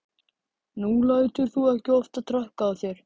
Nú lætur þú ekki oftar traðka á þér.